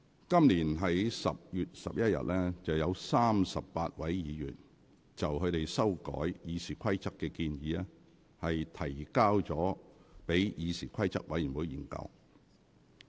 今年10月11日，有38位議員就他們修改《議事規則》的建議，提交議事規則委員會研究。